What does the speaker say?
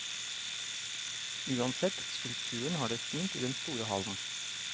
Uansett, skulpturen har det fint i den store hallen.